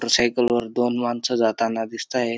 Cycle वर दोन मानस जाताना दिसतंय.